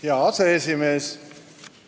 Hea aseesimees!